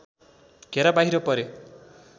घेरा बाहिर परे